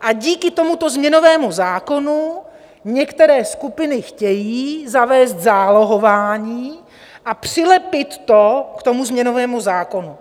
a díky tomuto změnovému zákonu některé skupiny chtějí zavést zálohování a přilepit to k tomu změnovému zákonu.